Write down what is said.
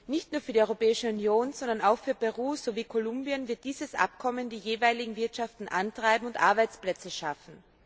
Nicht nur in der Europäischen Union, sondern auch in Peru und Kolumbien wird dieses Abkommen die jeweiligen Wirtschaften antreiben und Arbeitsplätze schaffen.